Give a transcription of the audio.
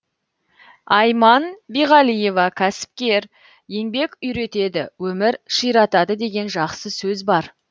айман биғалиева кәсіпкер еңбек үйретеді өмір ширатады деген жақсы сөз бар